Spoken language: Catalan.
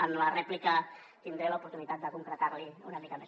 en la rèplica tindré l’oportunitat de concretar l’hi una mica més